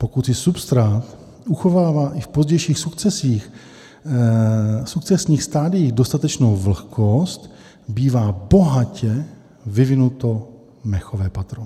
Pokud si substrát uchovává i v pozdějších sukcesních stadiích dostatečnou vlhkost, bývá bohatě vyvinuto mechové patro.